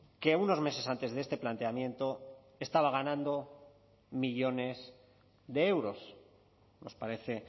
que unos meses antes de este planteamiento estaba ganando millónes de euros nos parece